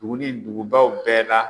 Dugu ni dugubaw bɛɛ la